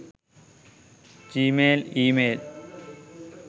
gmail email